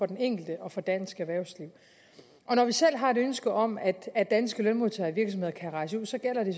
den enkelte og for dansk erhvervsliv når vi selv har et ønske om at at danske lønmodtagere og virksomheder kan rejse ud så gælder det